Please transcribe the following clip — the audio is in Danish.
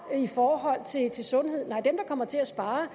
i forhold til til sundhed nej dem der kommer til at spare